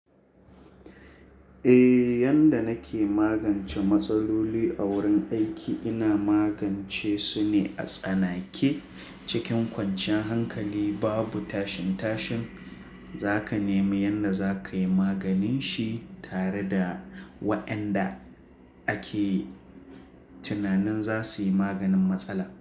Eh, yanda nake magance matsaloli a wurin aiki ina magance su ne a tsanake. Cikin kwanciyar hankali babu tashin-tashin. Za ka nemi yanda za ka yi maganin shi tare da waɗanda ake tunanin za su yi maganin matsala.